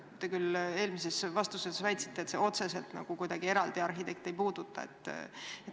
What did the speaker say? Te küll eelmises vastuses väitsite, et see otseselt eraldi arhitekte ei puuduta.